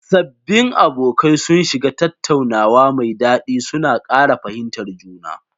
Sabbin abokai sun shiga tattaunawa mai dadi, suna kara fahimtar juna.